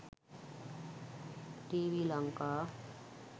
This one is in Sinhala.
tv lanka